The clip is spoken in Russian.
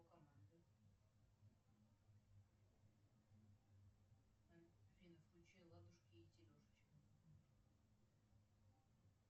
афина включи ладушки и телешечки